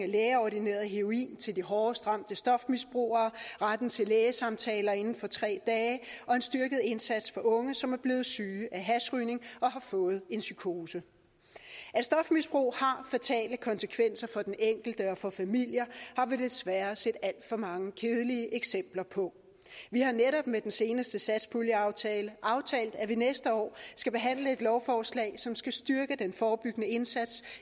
lægeordineret heroin til de hårdest ramte stofmisbrugere retten til lægesamtaler inden for tre dage og en styrket indsats for unge som er blevet syge af hashrygning og har fået en psykose at stofmisbrug har fatale konsekvenser for den enkelte og for familier har vi desværre set alt for mange kedelige eksempler på vi har netop med den seneste satspuljeaftale aftalt at vi næste år skal behandle et lovforslag som skal styrke den forebyggende indsats